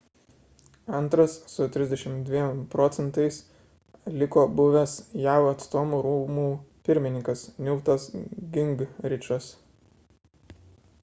antras su 32 proc. liko buvęs jav atstovų rūmų pirmininkas newtas gingrichas